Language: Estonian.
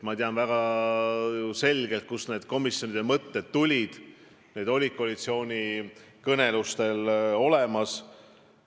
Ma tean väga selgelt, kust nende komisjonide loomise mõtted tulid, need olid koalitsioonikõnelustel olemas.